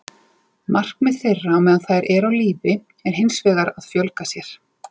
Markmið þeirra á meðan þær eru á lífi er hins vegar að fjölga sér.